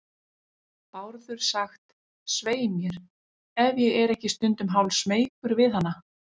Bárður sagt, svei mér, ef ég er ekki stundum hálfsmeykur við hana.